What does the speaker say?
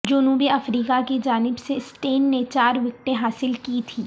جنوبی افریقہ کی جانب سے سٹین نے چار وکٹیں حاصل کی تھیں